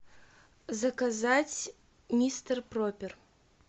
заказать мистер проппер